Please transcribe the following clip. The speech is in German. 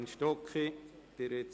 Kommissionssprecherin der FiKo.